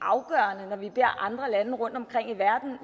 vi andre lande rundtomkring i verden